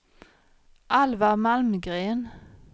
Alvar Malmgren